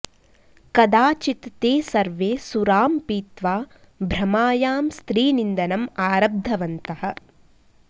कदाचित् ते सर्वे सुरां पीत्वा भ्रमायां स्त्रीनिन्दनम् आरब्धवन्तः